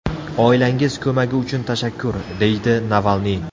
Oilangiz ko‘magi uchun tashakkur”, – deydi Navalniy.